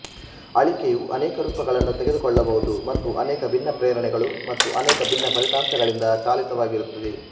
ಆಳಿಕೆಯು ಅನೇಕ ರೂಪಗಳನ್ನು ತೆಗೆದುಕೊಳ್ಳಬಹುದು ಮತ್ತು ಅನೇಕ ಭಿನ್ನ ಪ್ರೇರಣೆಗಳು ಮತ್ತು ಅನೇಕ ಭಿನ್ನ ಫಲಿತಾಂಶಗಳಿಂದ ಚಾಲಿತವಾಗಿರುತ್ತದೆ